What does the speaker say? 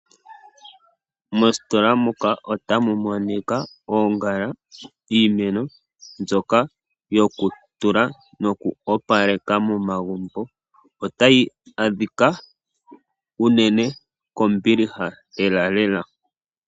Mositola muka otamumonika oongala, iimeno, mbyoka yokutula noku opaleka momagumbo. Otayi adhika unene kombiliha lelalela.